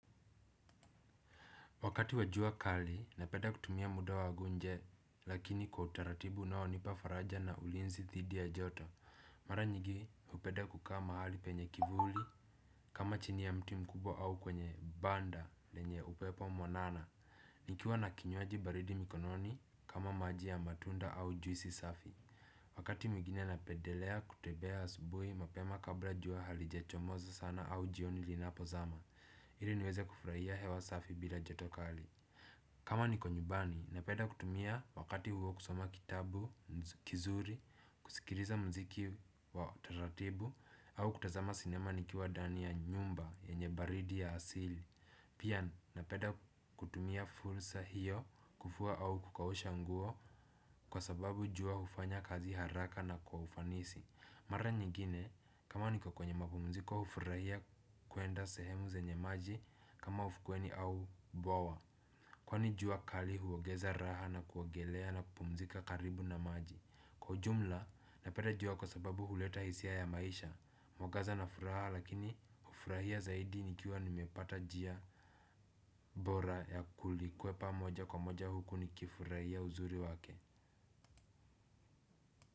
Wakati wa jua kali, napenda kutumia muda wangu nje, lakini kwa utaratibu unaonipa faraja na ulinzi dhidi ya joto. Mara nyigi, upenda kukaa mahali penye kivuli, kama chini ya mtu mkubwa au kwenye banda lenye upepo mwanana. Nikiwa na kinywaji baridi mikononi, kama maji ya matunda au juisi safi. Wakati mwigine napendelea kutembea asubuhi, mapema kabla jua halijechomoza sana au jioni linapozama. Hili niweze kufurahia hewa safi bila joto kali. Kama niko nyumbani, napenda kutumia wakati huo kusoma kitabu, kizuri, kusikiliza mziki wa taratibu. Au kutazama sinema nikiwa ndani ya nyumba yenye baridi ya asili. Pia napenda kutumia fursa hiyo kufua au kukausha nguo kwa sababu jua ufanya kazi haraka na kwa ufanisi. Mara nyingine, kama niko kwenye mapumziko ufurahia kuenda sehemu zenye maji kama ufukweni au bwawa. Kwani jua kali huongeza raha na kuogelea na kupumzika karibu na maji. Kwa jumla napenda jua kwa sababu uleta hisia ya maisha. Mwangaza na furaha lakini ufurahia zaidi nikiwa nimepata njia bora ya kulikwepa moja kwa moja huku nikifurahia uzuri wake.